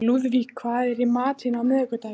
Lúðvík, hvað er í matinn á miðvikudaginn?